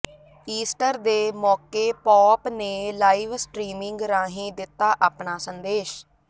Easter ਦੇ ਮੌਕੇ pope ਨੇ ਲਾਈਵਸਟ੍ਰੀਮਿੰਗ ਰਾਹੀਂ ਦਿੱਤਾ ਆਪਣਾ ਸੰਦੇਸ਼